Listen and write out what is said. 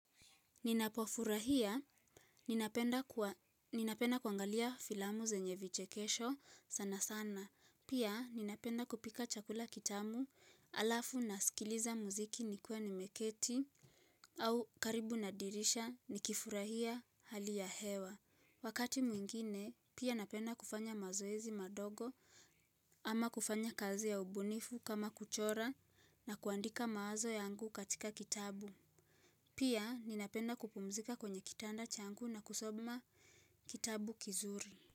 Ninapofurahia, ninapenda kuangalia filamu zenye vichekesho sana sana, pia ninapenda kupika chakula kitamu alafu nasikiliza muziki nikiwa nimeketi au karibu na dirisha nikifurahia hali ya hewa. Wakati mwingine, pia napenda kufanya mazoezi madogo ama kufanya kazi ya ubunifu kama kuchora na kuandika mawazo yangu katika kitabu. Pia ninapenda kupumzika kwenye kitanda changu na kusoma kitabu kizuri.